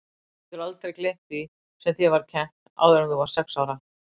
Þú getur aldrei gleymt því sem þér var kennt áður en þú varðst sex ára.